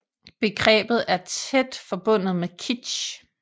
Begrebet er tæt forbundet med kitsch